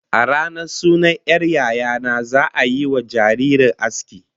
A ranar sunan 'yar yaya na, za'a yiwa jaririyar aski